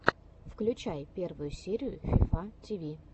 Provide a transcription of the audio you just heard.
включай первую серию фифа ти ви